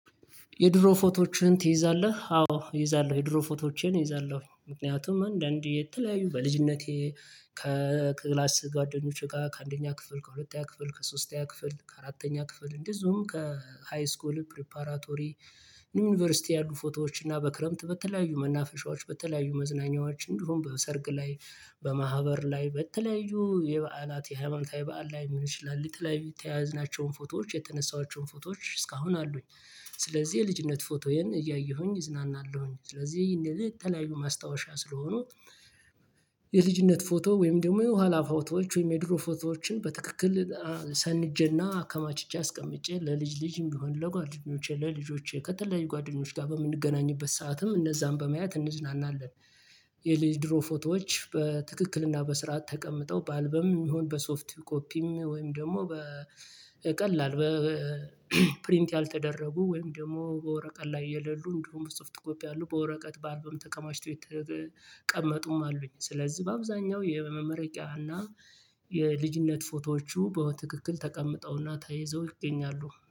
የድሮ ፎቶዎችህን ትይዛለህ አዎ እይዛለሁ የድሮ ፎቶዎቸን እይዛለሁ ምክንያቱም አንዳንዴ የተለያዩ በልጅነቴ ከክላስ ጓደኞቼ ጋር ከአንደኛ ክፍል ከሁለተኛ ክፍል ከሶስተኛ ክፍል ከአራተኛ ክፍል እንደዚሁም ከሃይስኮል ፕሪፓራቶሪ ዩኒቨርሲቲ ያሉ ፎቶዎች እና በክረምት በተለያዩ መናፈሻዎች በተለያዩ መዝናኛዎችን ድሮም በሰርግ ላይ በማህበር ላይ በተለያዩ የበዓላት የሃይማኖታዊ በዓል ላይ ልሆን ይችላል የተያያዝናቸውን ፎቶዎች የተነሳኋቸውን ፎቶዎች እስካሁን አሉኝ። ስለዚህ የልጅነት ፎቶዬን እያየሁኝ እዝናናለሁኝ። ስለዚህ እንደዚህ የተለያዩ ማስታወሻ ስለሆኑ የልጅነት ፎቶ ወይም ደግሞ የኋላ ፎቶዎች ወይም የድሮ ፎቶዎችን በትክክል ሰንጄና አከማችቼ አስቀምጬ ለልጅ ልጅም ቢሆን ለጓደኞቼ ለልጆቼ ከተለያዩ ጓደኞች ጋር በምንገናኝበት ሰዓትም እነዛን በመያዝ እንዝናናለን። የድሮ ፎቶዎች በትክክልና በስርዓት ተቀምጠው በአልበም የሚሆን በሶፍት ኮፒም ወይም ደግሞ በቀላል በፕሪንት ያልተደረጉ ወይም ደግሞ በወርቀት ላይ የሌሉ እንዲሁም ስፍት ኮፒ አሉ በወረቀት በአልበም ተቀማጭቶ የተቀመጡም አሉኝ። ስለዚህ በአብዛኛው የመመረቂያና የልጅነት ፎቶዎቹ በትክክል ተቀምጠውና ተይዘው ይገኛሉ